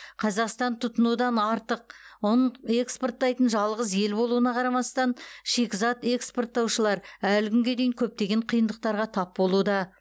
қазақстан тұтынудан артық ұн экспорттайтын жалғыз ел болуына қарамастан шикізат экспорттаушылар әлі күнге дейін көптеген қиындықтарға тап болуда